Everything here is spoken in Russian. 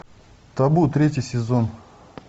табу третий сезон